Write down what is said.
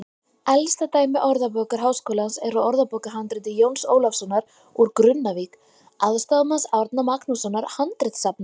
Elsta dæmi Orðabókar Háskólans er úr orðabókarhandriti Jóns Ólafssonar úr Grunnavík, aðstoðarmanns Árna Magnússonar handritasafnara.